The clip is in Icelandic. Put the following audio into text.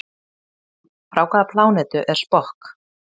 Frá hvaða plánetu er Spock?